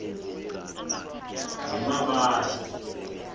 yemmabatho